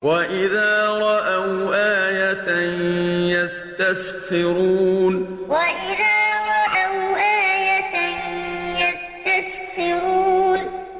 وَإِذَا رَأَوْا آيَةً يَسْتَسْخِرُونَ وَإِذَا رَأَوْا آيَةً يَسْتَسْخِرُونَ